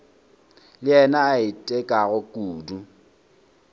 le yena a itekago kudu